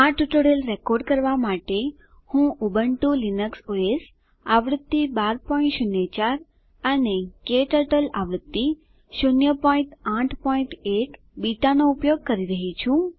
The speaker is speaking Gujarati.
આ ટ્યુટોરીયલ રેકોર્ડ કરવા માટે હું ઉબુન્ટુ લીનક્સ ઓએસ આવૃત્તિ 1204 અને ક્ટર્ટલ આવૃત્તિ 081 બીટાનો ઉપયોગ કરી રહ્યી છું